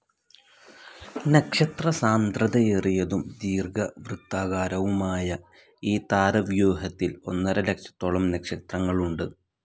നക്ഷത്രസാന്ദ്രതയേറിയതും ദീർഘവൃത്താകാരവുമായ ഈ താരവ്യൂഹത്തിൽ ഒന്നര ലക്ഷത്തോളം നക്ഷത്രങ്ങളുണ്ട്.